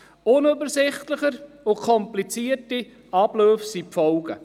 Unübersichtlichere und komplizierte Abläufe sind die Folge.